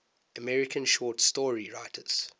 american short story writers